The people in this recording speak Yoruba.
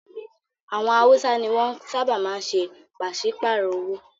Àwọn Hausa ni wọ́n ṣábà máa ń ṣe pàsípàrọ̀ owó.